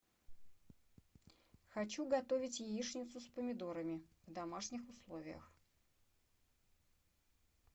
хочу готовить яичницу с помидорами в домашних условиях